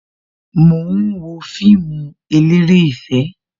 Mo ń wo fíìmù eléré ìfẹ́